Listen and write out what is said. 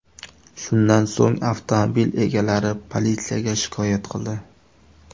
Shundan so‘ng, avtomobil egalari politsiyaga shikoyat qildi.